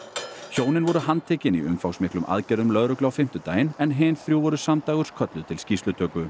hjónin voru handtekin í umfangsmiklum aðgerðum lögreglu á fimmtudaginn en hin þrjú voru samdægurs kölluð til skýrslutöku